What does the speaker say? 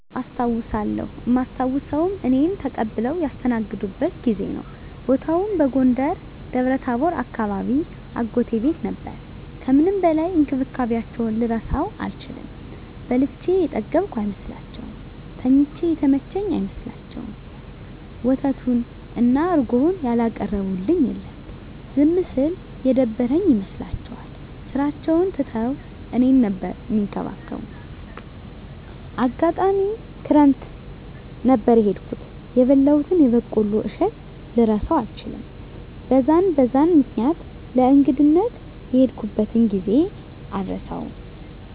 አዎ አስታዉሳለው እማስታዉሰዉም እኔን ተቀብለዉ ያስተናገዱበትን ጊዜ ነዉ። ቦታዉም በጎንደር ደብረታቦር አካባቢ አጎቴ ቤት ነበር ከምንም በላይ እንክብካቤያቸዉን ልረሳዉ አልችልም። በልቼ የጠገብኩ አይመስላቸዉም፣ ተኝቼ የተመቸኝ አይመስላቸዉም፣ ወተቱን እና እረጎዉን ያላቀረቡልኝ የለም። ዝም ስል የደበረኝ ይመስላቸዋል ስራቸዉን ትተዉ እኔን ነበር እሚንከባከቡት፣ አጋጣሚ ክረምት ነበር የሄድኩት የበላሁትን የበቆሎ እሸት ልረሳዉ አልችልም። በዛን በዛን ምክኒያት ለእንግድነት የሄድኩበትን ጊዜ አረሳዉም።